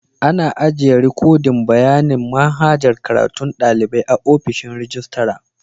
Ana ajiyan rikodin bayanin manhajar karatun dalibai a'ofishin rijistira.